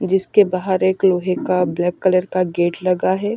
जिसके बाहर एक लोहे का ब्लैक कलर का गेट लगा है।